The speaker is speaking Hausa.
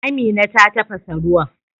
Amina ta tafasa ruwan.